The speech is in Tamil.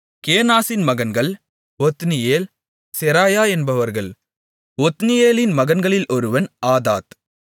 கேனாசின் மகன்கள் ஒத்னியேல் செராயா என்பவர்கள் ஒத்னியேலின் மகன்களில் ஒருவன் ஆத்தாத்